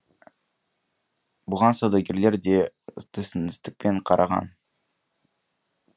бұған саудагерлер де түсіністікпен қараған